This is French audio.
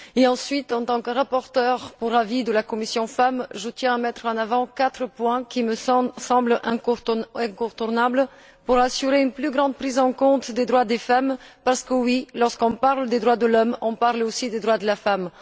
Ensuite, en tant que rapporteure pour avis de la commission FEMM, je tiens à mettre en avant quatre points qui me semblent incontournables pour assurer une plus grande prise en compte des droits des femmes, parce que oui, quand on parle des droits de l'homme, on parle aussi des droits de la femme.